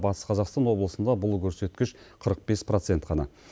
батыс қазақстан облысында бұл көрсеткіш қырық бес процент қана